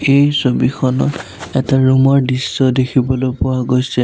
এই ছবিখনত এটা ৰুম ৰ দৃশ্য দেখিবলৈ পোৱা গৈছে।